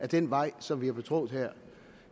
den vej som vi har betrådt her